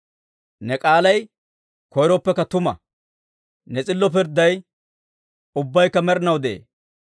Ne k'aalay koyiroppekka tuma; ne s'illo pirdday ubbaykka med'inaw de'ee.